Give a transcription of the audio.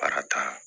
Baara ta